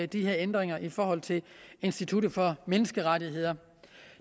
de her ændringer i forhold til institut for menneskerettigheder